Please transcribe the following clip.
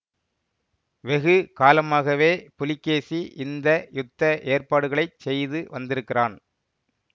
வெகு காலமாகவே புலிகேசி இந்த யுத்த ஏற்பாடுகளைச் செய்து வந்திருக்கிறான்